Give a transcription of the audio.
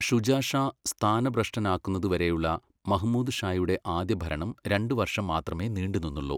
ഷുജാ ഷാ സ്ഥാനഭ്രഷ്ടനാക്കുന്നതുവരെയുള്ള മഹ്മൂദ് ഷായുടെ ആദ്യ ഭരണം രണ്ട് വർഷം മാത്രമേ നീണ്ടുനിന്നുള്ളൂ.